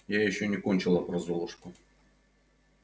я ещё не кончила про золушку